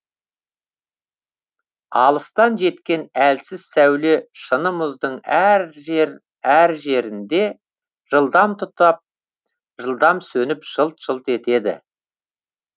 алыстан жеткен әлсіз сәуле шыны мұздың әр жер әр жерінде жылдам тұтап жылдам сөніп жылт жылт етеді